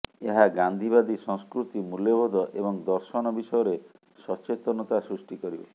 ଏହା ଗାନ୍ଧୀବାଦୀ ସଂସ୍କୃତି ମୂଲ୍ୟବୋଧ ଏବଂ ଦର୍ଶନ ବିଷୟରେ ସଚେତନତା ସୃଷ୍ଟି କରିବ